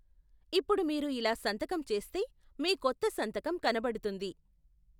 ఇప్పుడు మీరు ఇలా సంతకం చేస్తే మీ కొత్త సంతకం కనబడుతుంది.